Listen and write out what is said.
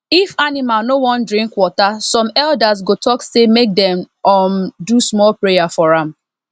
if animal no wan drink water some elders go talk say make dem um do small prayer for am